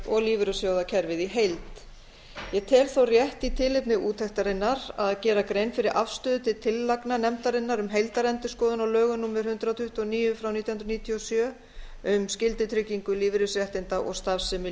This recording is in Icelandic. og lífeyrissjóðakerfið í heild ég tel þó rétt í tilefni úttektarinnar að gera grein fyrir afstöðu til tillagna nefndarinnar um heildarendurskoðun á lögum númer hundrað tuttugu og níu nítján hundruð níutíu og sjö um skyldutryggingu lífeyrisréttinda og starfsemi